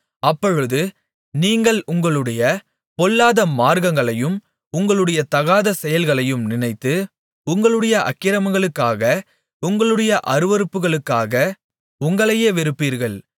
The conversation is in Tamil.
அப்பொழுது நீங்கள் உங்களுடைய பொல்லாத மார்க்கங்களையும் உங்களுடைய தகாத செயல்களையும் நினைத்து உங்களுடைய அக்கிரமங்களுக்காக உங்களுடைய அருவருப்புகளுக்காக உங்களையே வெறுப்பீர்கள்